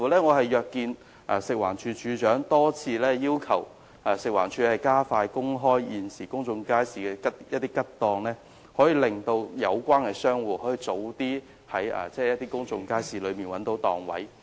我甚至約見了食環署署長，多次要求食環署加快公布現時公眾街市空置檔位的情況，讓有關商戶可以在其他公眾街市中找到新檔位。